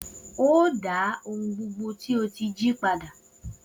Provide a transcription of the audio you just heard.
O óò dá ohun gbogbo tí o ti jí padà!